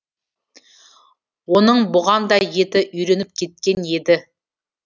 оның бұған да еті үйреніп кеткен еді